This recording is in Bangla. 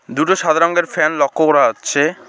দুটো সাদা রংয়ের ফ্যান লক্ষ্য করা যাচ্ছে।